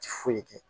Ti foyi kɛ